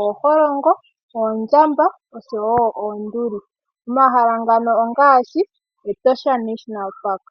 ooholongo, oondjamba osho wo oonduli. Omahala ngano ongashi Etosha National Park.